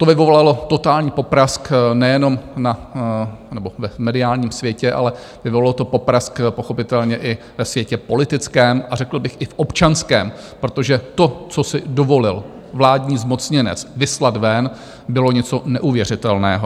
To vyvolalo totální poprask nejenom v mediálním světě, ale vyvolalo to poprask pochopitelně i ve světě politickém a řekl bych i v občanském, protože to, co si dovolil vládní zmocněnec vyslat ven, bylo něco neuvěřitelného.